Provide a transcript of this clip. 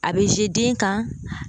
A bɛ den kan